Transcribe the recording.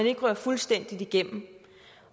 ikke ryger fuldstændig igennem